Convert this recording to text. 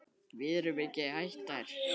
Við erum ekki hættar.